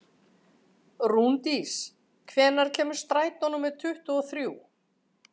Rúndís, hvenær kemur strætó númer tuttugu og þrjú?